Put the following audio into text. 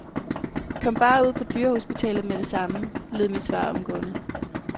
Kom bare ud på dyrehospitalet med det samme, lød mit svar omgående.